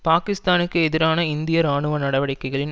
பாக்கிஸ்தானுக்கு எதிரான இந்திய இராணுவ நடவடிக்கைகளின்